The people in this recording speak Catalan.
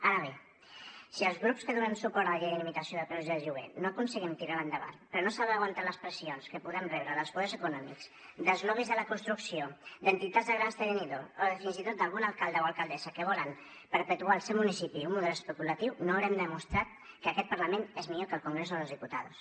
ara bé si els grups que donem suport a la llei de limitació de preus del lloguer no aconseguim tirar la endavant per no saber aguantar les pressions que podem rebre dels poders econòmics dels lobbys de la construcció d’entitats de grans tenidors o fins i tot d’algun alcalde o alcaldessa que volen perpetuar al seu municipi un model especulatiu no haurem demostrat que aquest parlament és millor que el congreso de los diputados